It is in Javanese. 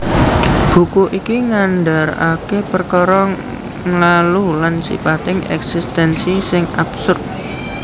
Buku iki ngandaraké perkara nglalu lan sipating èksistènsi sing absurd